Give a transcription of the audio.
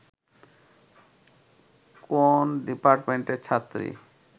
কোন ডিপার্টমেন্টের ছাত্রী